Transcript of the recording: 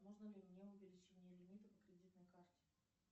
можно ли мне увеличение лимита по кредитной карте